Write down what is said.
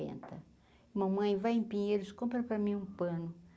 mamãe vai em pinheiros, compra para mim um pano.